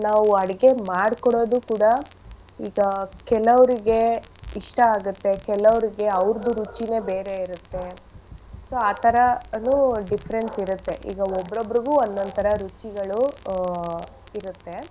ನಾವು ಅಡ್ಗೆ ಮಾಡ್ಕೊಡೋದು ಕೂಡ ಈಗ ಕೆಲವ್ರಿಗೆ ಇಷ್ಟ ಆಗತ್ತೆ ಕೆಲವ್ರಿಗೆ ಅವ್ರ್ದು ರುಚಿನೆ ಬೇರೆ ಇರತ್ತೆ. So ಆ ತರನು difference ಇರತ್ತೆ. ಈಗ ಒಬ್ಬೊಬ್ರುಗು ಒಂದೊಂದ್ ತರ ರುಚಿಗಳು ಆ ಇರತ್ತೆ.